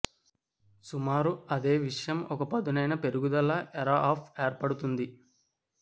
సుమారు అదే విషయం ఒక పదునైన పెరుగుదల ఎర అప్ ఏర్పడుతుంది